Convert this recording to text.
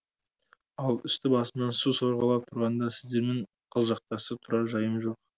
ал үсті басымнан су сорғалап тұрғанда сіздермен қылжақтасып тұрар жайым жоқ